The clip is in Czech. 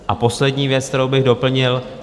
A poslední věc, kterou bych doplnil.